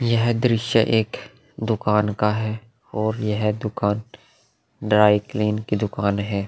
यह दृश्य एक दुकान का है और यह दुकान ड्राईक्लीन की दुकान है।